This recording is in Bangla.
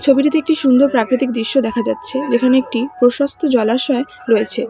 ছবিটিতে একটি সুন্দর প্রাকৃতিক দৃশ্য দেখা যাচ্ছে যেখানে একটি প্রশস্ত জলাশয় রয়েছে।